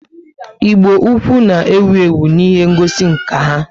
Igbo-ukwu na ewu ewu n' ihe ngosi nka ha